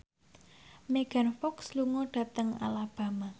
Megan Fox lunga dhateng Alabama